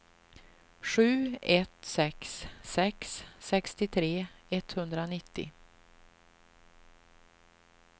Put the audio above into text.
sju ett sex sex sextiotre etthundranittio